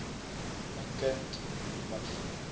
my kind miv